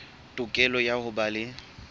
tokelo ya ho ba le